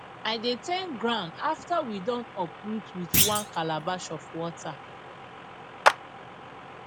i dey thank ground after we don uproot with one calabash of water